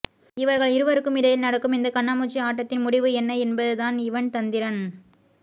இவர்கள் இருவருக்கும் இடையில் நடக்கும் இந்த கண்ணாமூச்சி ஆட்டத்தின் முடிவு என்ன என்பதுதான் இவன் தந்திரன்